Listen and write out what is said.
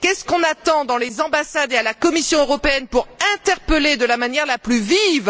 Qu'est ce qu'on attend dans les ambassades et à la Commission européenne pour interpeller de la manière la plus vive M.